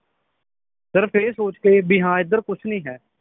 ਸਿਰਫ ਇਹ ਸੋਚ ਕੇ ਬੀ ਹਾਂ ਏਧਰ ਕੁਛ ਨਈ ਹੈ